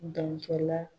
Dankala